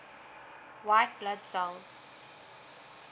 white blood cells